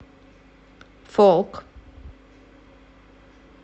фолк